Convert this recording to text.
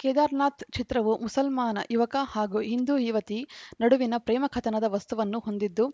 ಕೇದಾರ್‌ನಾಥ್‌ ಚಿತ್ರವು ಮುಸಲ್ಮಾನ ಯುವಕ ಹಾಗು ಹಿಂದು ಯುವತಿ ನಡುವಿನ ಪ್ರೇಮ ಕಥನದ ವಸ್ತುವನ್ನು ಹೊಂದಿದ್ದು